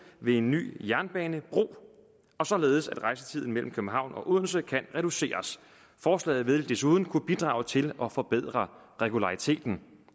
ved en ny jernbanebro således at rejsetiden mellem københavn og odense kan reduceres forslaget vil desuden kunne bidrage til at forbedre regulariteten